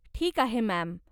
ठीक आहे, मॅम.